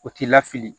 O t'i lafili